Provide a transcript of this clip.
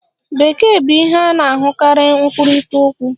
Bekee bụ ihe a na-ahụkarị nkwurịta okwu.